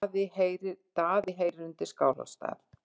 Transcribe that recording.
Daði heyrir undir Skálholtsstað.